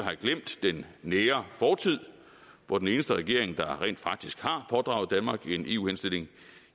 have glemt den nære fortid hvor den eneste regering der rent faktisk har pådraget danmark en eu henstilling